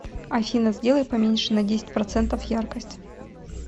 афина сделай поменьше на десять процентов яркость